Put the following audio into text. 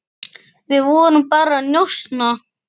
Við vorum bara að njósna